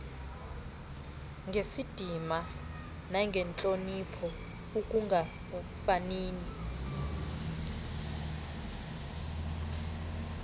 ngesidima nangentloniphi ekungafanini